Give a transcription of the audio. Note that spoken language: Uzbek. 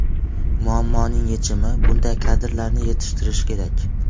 Muammoning yechimi bunday kadrlarni yetishtirish kerak.